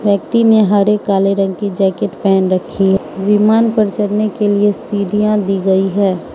व्यक्ति ने हरे काले रंग की जैकेट पेहन रखी है विमान पर चढ़ने के लिए सीढ़ियां दी गई हैं।